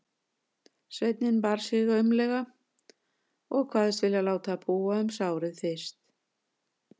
Sveinninn bar sig aumlega og kvaðst vilja láta búa um sárið fyrst.